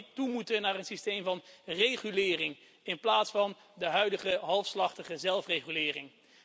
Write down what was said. Zouden we niet toe moeten naar een systeem van regulering, in plaats van de huidige halfslachtige zelfregulering?